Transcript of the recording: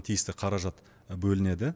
тиісті қаражат бөлінеді